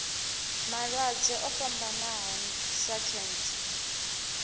malwadze o fhambanaho sa khentsa